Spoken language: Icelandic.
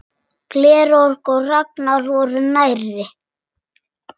Georg og Ragnar voru nærri.